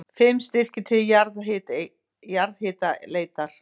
Fimm styrkir til jarðhitaleitar